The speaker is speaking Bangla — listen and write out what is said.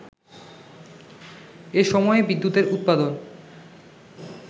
এসময়ে বিদ্যুতের উৎপাদন